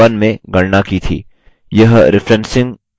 यह referencing से करेंगे